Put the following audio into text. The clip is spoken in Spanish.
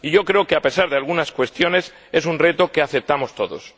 Y yo creo que, a pesar de algunas cuestiones, es un reto que aceptamos todos.